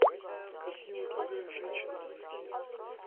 картина другая женщина найти